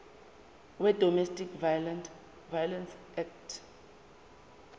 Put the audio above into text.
wedomestic violence act